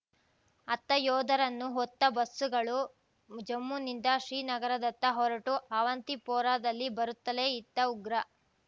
ಅತ್ತ ಯೋಧರನ್ನು ಹೊತ್ತ ಬಸ್ಸುಗಳು ಜಮ್ಮುನಿಂದ ಶ್ರೀನಗರದತ್ತ ಹೊರಟು ಅವಂತಿಪೋರಾದಲ್ಲಿ ಬರುತ್ತಲೇ ಇತ್ತ ಉಗ್ರ